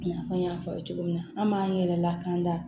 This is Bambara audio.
I n'a fɔ n y'a fɔ aw ye cogo min na an b'an yɛrɛ lakanan da